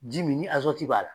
Ji min ni azɔti b'a la.